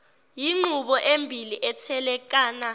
yinqubo embili ethekelana